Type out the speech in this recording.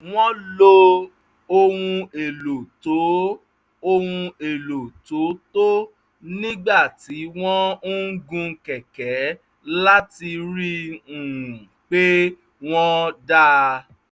wọ́n lo ohun èlò tó ohun èlò tó tọ́ nígbà tí wọ́n ń gun kẹ̀kẹ̀ láti rí i um pé wọ́n dáa